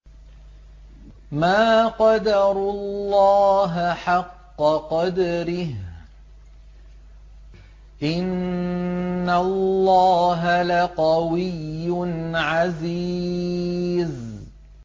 مَا قَدَرُوا اللَّهَ حَقَّ قَدْرِهِ ۗ إِنَّ اللَّهَ لَقَوِيٌّ عَزِيزٌ